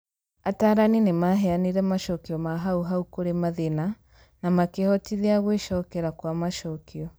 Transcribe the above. Atarani nĩ maheanire macokio ma hau hau kũrĩ mathĩna na makĩhotithia gwĩcokera kwa macokio.